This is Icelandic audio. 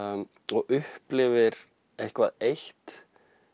og upplifir eitthvað eitt